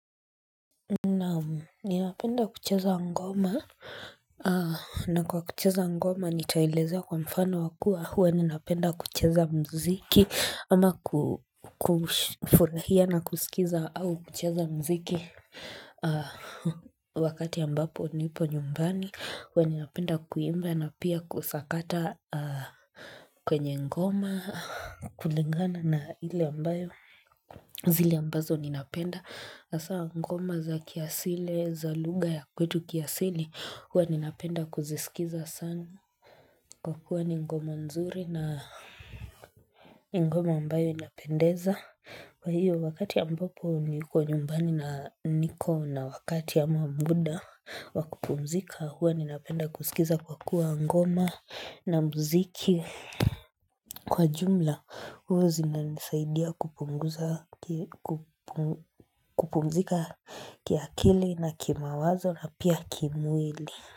Naam ninapenda kucheza ngoma na kwa kucheza ngoma nitaeleza kwa mfano wakua Huwa ninapenda kucheza mziki ama kufurahia na kusikiza au kucheza mziki Wakati ambapo nipo nyumbani Huwa ninapenda kuimba na pia kusakata kwenye ngoma kulingana na hile ambayo zile ambazo ninapenda, hasa ngoma za kiasile, za luga ya kwetu kiasili, huwa ninapenda kuzisikiza sana. Kwa kuwa ni ngoma nzuri na ni ngoma ambayo inapendeza. Kwa hiyo, wakati ambapo niko nyumbani na niko na wakati ama muda wakupumzika, huwa ninapenda kuskiza kwa kuwa ngoma na muziki. Kwa jumla huu zina nisaidia kupunguza kupumzika kiakili na kimawazo na pia kimwili.